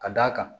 Ka d'a kan